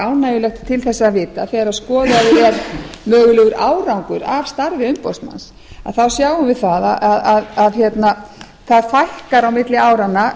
ánægjulegt til þess að vita þegar skoðaður er mögulegur árangur af starfi umboðsmanns þá sjáum við að það fækkar á milli áranna